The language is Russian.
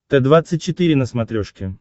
т двадцать четыре на смотрешке